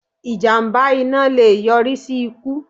Ìjàmbá iná le è yọrí sí ikú